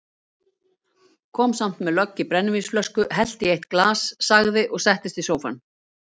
Kom samt með lögg í brennivínsflösku, hellti í eitt glas, sagði og settist í sófann